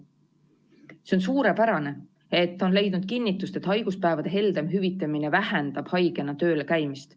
See on suurepärane, et on leidnud kinnitust, et haiguspäevade heldem hüvitamine vähendab haigena tööl käimist.